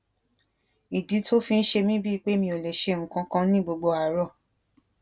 ìdí tó fi ń ṣe mí bíi pé mi ò lè ṣe nǹkan kan ni gbogbo àárò